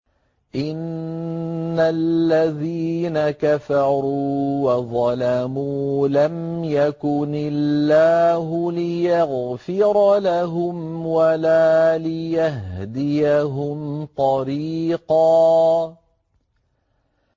إِنَّ الَّذِينَ كَفَرُوا وَظَلَمُوا لَمْ يَكُنِ اللَّهُ لِيَغْفِرَ لَهُمْ وَلَا لِيَهْدِيَهُمْ طَرِيقًا